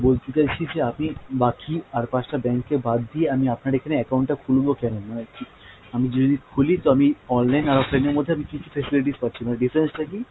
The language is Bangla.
বলতে চাইছি যে আপনি বাকি আর পাঁচটা bank এ বাদ দিয়ে আমি আপনার এখানে account টা খুলবো কেন! মানে আমি যদি খুলি তো আমি online আর offline এর মধ্যে আমি কী কী facilities পাচ্ছি বা এর difference টা কী?